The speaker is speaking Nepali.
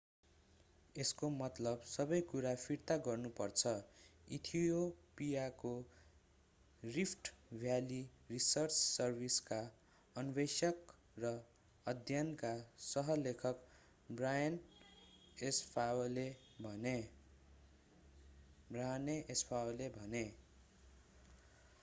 यसको मतलब सबै कुरा फिर्ता गर्नु पर्छ इथियोपियाको रिफ्ट भ्याली रिसर्च सर्भिसका अन्वेषक र अध्ययनका सह लेखक बर्हाने एस्फावले भने